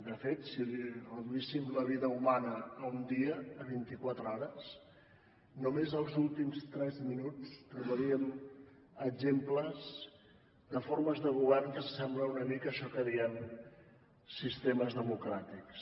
de fet si reduíssim la vida humana a un dia a vint i quatre hores només els últims tres minuts trobaríem exemples de formes de govern que s’assemblen una mica a això que diem sistemes democràtics